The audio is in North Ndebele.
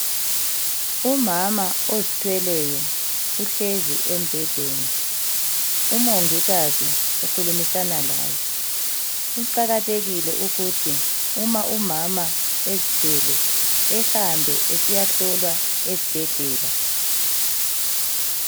Umama ozithweleyo uhlezi embhedeni. Umongikazi ukhulumisana laye. Kuqakathekile ukuthi uma umama ezithwele ehambe esiyahlolwa ezibhedlela.